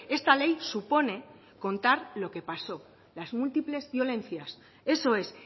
esta ley supone contar lo que pasó las múltiples violencias eso es